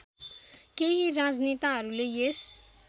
केही राजनेताहरूले यस